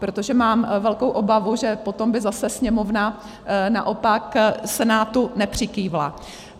Protože mám velkou obavu, že potom by zase Sněmovna naopak Senátu nepřikývla.